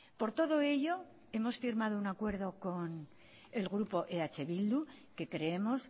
por todo ello hemos firmado un acuerdo con el grupo eh bildu que creemos